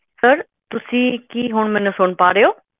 sir ਤੁਸੀਂ ਕੀ ਹੁਣ ਮੈਨੂੰ ਸੁਣ ਪਾ ਰਹੇ ਹੋ